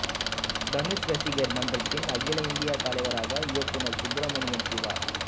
தனுஷ் ரசிகர் மன்றத்தின் அகில இந்திய தலைவராக இயக்குனர் சுப்ரமணியம் சிவா